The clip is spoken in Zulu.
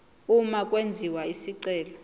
uma kwenziwa isicelo